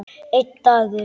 Einn dagur!